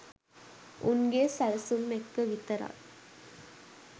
උන්ගේ සැලසුම් එක්ක විතරයි